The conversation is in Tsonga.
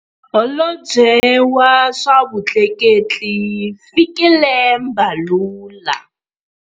Holobye wa swa Vutleketli, Fikile Mbalula.